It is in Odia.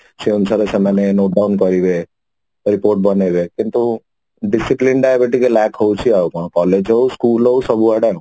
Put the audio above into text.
ସେଇ ଅନୁସାରେ ସେମାନେ move on କରିବେ report ବନେଇବେ କିନ୍ତୁ discipline ଟା ଏବେ ଟିକେ lack ହଉଛି ଆଉ କଣ collage ହଉ school ହଉ ସବୁ ଆଡେ ଆଉ